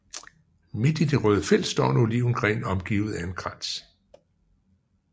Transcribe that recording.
Midt i det røde felt står en olivengren omgivet af en krans